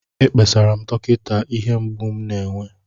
Ekpesara m dọkịta ihe mgbu m na-enwe